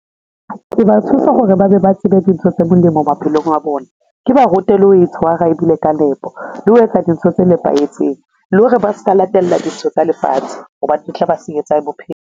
Ke ba thusa hore ba be ba tsebe dintho tse molemo maphelong a bona, ke ba rute le ho e tshwara e dule ka nepo, le ho etsa dintho tse nepahetseng le hore ba ska latella dintho tsa lefatshe ho ba di tla ba senyetsa bophelo.